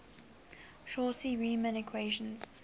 cauchy riemann equations